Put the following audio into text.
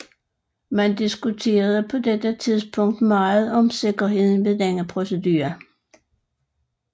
Man diskuterede på dette tidspunkt meget om sikkerheden ved denne procedure